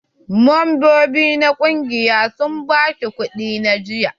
Membobi na ƙungiyar sun ba shi kuɗi na jiyya.